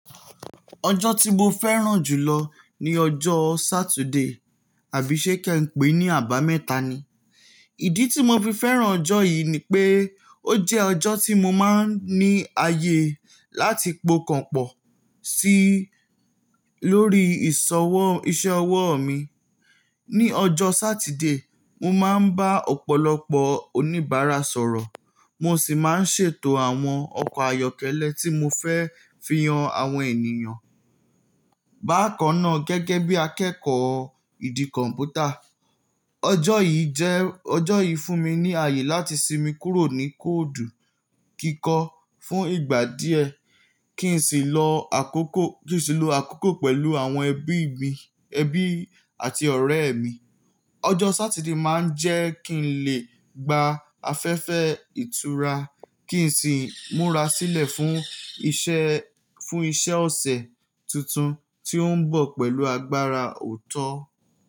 Ọjọ́ tí mo fẹ́ràn jù lọ ní ọjọ́ Saturday àbí ṣe Kẹ̀ e pé ní àbámẹ́ta ni. Ìdí tí mo fi fẹ́ràn ọjọ́ yìí ni pé ó jẹ́ ọjọ́ tí mo máa ń ní ààyè láti pokan pọ̀ sí lórí ìṣọwọ́ iṣẹ́ ọwọ́ mi. Ni ọjọ́ Saturday, mo máa ń bá ọ̀pọ̀lọpọ̀ oníbàárà sọ̀rọ̀ mo sì máa ń ṣètò àwọn ọkọ̀ ayọ́kẹ́lẹ́ tí mo fẹ́ fi yan àwọn ènìyàn bákan náà gẹ́gẹ́ bí akẹ́kọ̀ọ́ ìdí kọ̀m̀pútà. Ọjọ́ yìí jẹ́ ọjọ́ yìí fún mi ní ààyè láti sinmi kúrò ní kóòdù kíkọ́ fún ìgbà díẹ̀ kí n sì lọ àkókò kí sì lọ àkókò pẹ̀lú àwọn ẹbí mi ẹbí àti ọ̀rẹ́ mi. Ọjọ́ Saturday máa ń jẹ́ kí n lè gba afẹ́fẹ́ ìtura kí n sì múra sílẹ̀ fún iṣẹ́ fún iṣẹ́ ọ̀sẹ̀ tuntun tí ó ń bọ̀ pẹ̀lú agbára òótọ́.